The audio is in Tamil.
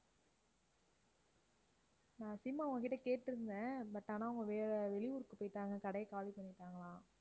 நான் sim அவங்ககிட்ட கேட்டிருந்தேன், but ஆனா அவங்க வேற வெளியூருக்கு போயிட்டாங்க கடையைக் காலி பண்ணிட்டாங்களாம்